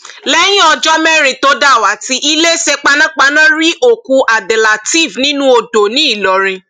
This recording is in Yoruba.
lẹyìn ọjọ mẹrin tó dàwátì iléeṣẹ panápaná rí òkú abdelteef nínú odò ńìlọrin